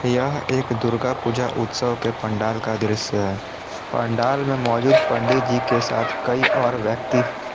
यह एक दुर्गा पूजा उत्सव के पंडाल का दृश्य है पंडाल में मौजूद पंडित जी के साथ कई और व्यक्ति--